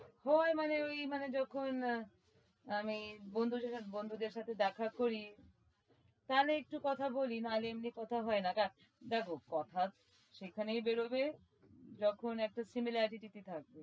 হয় মানে ওই মানে যখন আমি বন্ধুদের সাথে বন্ধুদের সাথে দেখা করি তাহলে একটু কথা বলি নাহলে এমনি কথা হয় না কেন? দেখো কথা সেখানেই বেরবে যখন একটা similarity থাকবে